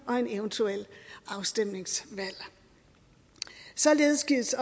og et eventuelt afstemningsvalg således gives